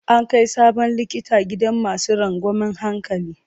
An kai sabon likita gidan masu rangwamen hankali.